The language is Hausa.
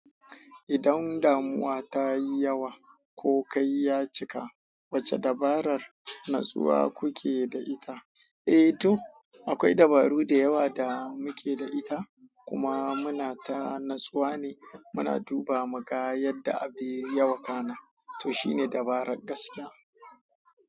Idan damuwa ta yi yawa ko kai ya cika, wace dabarar natsuwa kuke da ita? Eh to, akwai dabaru da yawa da muke da ita kuma muna ta natsuwa ne muna duba muga yadda abin ya wakana. To shine dabarar gaskiya.